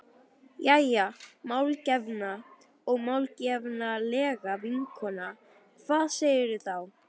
Jæja, málgefna og málefnalega vinkona, hvað segirðu þá?